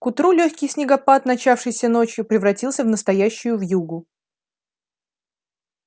к утру лёгкий снегопад начавшийся ночью превратился в настоящую вьюгу